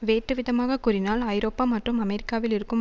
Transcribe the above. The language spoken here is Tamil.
வேட்டுவிதமாகக் கூறினால் ஐரோப்பா மற்றும் அமெரிக்காவில் இருக்கும்